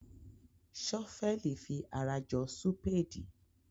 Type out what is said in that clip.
Ṣọ́fẹ́ẹ̀lì fi ara jọ súpéèdì.